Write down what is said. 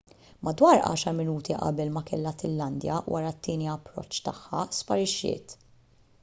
madwar għaxar minuti qabel ma kellha tillandja wara t-tieni approċċ tagħha sparixxiet